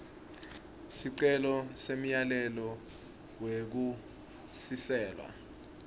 sicelo semyalelo wekusiselwa